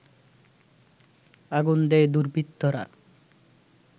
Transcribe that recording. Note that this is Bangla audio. আগুন দেয় দুর্বৃত্তরা